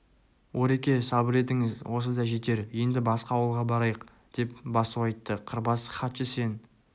ореке сабыр етіңіз осы да жетер енді басқа ауылға барайық деп басу айтты қырбас хатшы сен